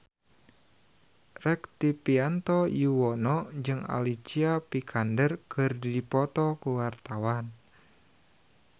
Rektivianto Yoewono jeung Alicia Vikander keur dipoto ku wartawan